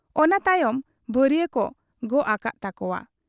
ᱚᱱᱟ ᱛᱟᱭᱚᱢ ᱵᱷᱟᱹᱨᱤᱭᱟᱹᱠᱚ ᱜᱚᱜ ᱟᱠᱟᱜ ᱛᱟᱠᱚᱣᱟ ᱾